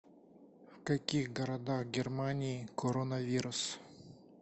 в каких городах германии коронавирус